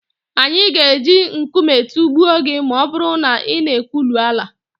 anyị ga-eji nkume tụgbuo gị ma ọ bụrụ na ị na-ekwulu Alla